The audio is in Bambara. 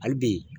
Hali bi